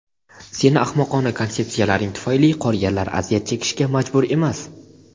Seni ahmoqona konsepsiyalaring tufayli qolganlar aziyat chekishga majbur emas.